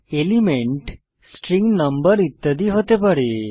elements string number ইত্যাদি হতে পারে